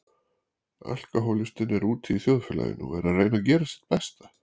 Alkohólistinn er úti í þjóðfélaginu og er að reyna að gera sitt besta.